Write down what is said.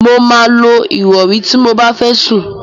Mo máa lo ìrọ̀rí ti mo bá fẹ́ sùn.